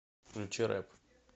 включи рэп